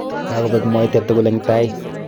Kakobek mwaita tugul eng tait.